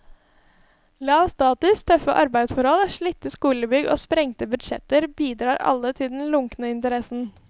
Lav status, tøffe arbeidsforhold, slitte skolebygg og sprengte budsjetter bidrar alle til den lunkne interessen.